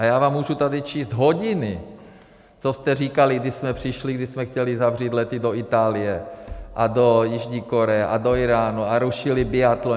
A já vám můžu tady číst hodiny, co jste říkali, když jsme přišli, když jsme chtěli zavřít lety do Itálie a do Jižní Koreje a do Íránu a rušili biatlon.